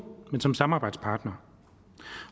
men som samarbejdspartner